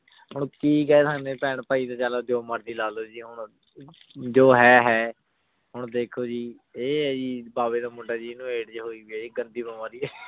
ਹੁਣ ਕੀ ਕਹਨਾ ਆਯ ਹੁਣ ਪੈਣ ਪੈ ਨੇ ਚਲੋ ਜੋ ਮਰਜੀ ਲਾ ਲੋ ਜੀ ਹੁਣ ਜੋ ਹੈ ਹੈ ਹੁਣ ਦੇਖੋ ਜੀ ਆਯ ਆਯ ਆਯ ਜੀ ਬਵੇ ਦਾ ਮੁੰਡਾ ਏਨੁ AIDS ਆਯ ਵੀ ਗੰਦੀ ਬੇਮਾਰੀ ਆ